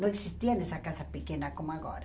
Não existia essa casa pequena como agora.